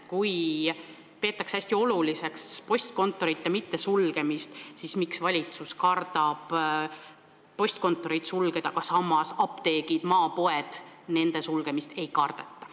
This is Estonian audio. Meil peetakse hästi oluliseks postkontoreid mitte sulgeda ja valitsus kardabki seda teha, kuid samas apteekide ja maapoodide sulgemist ei kardeta.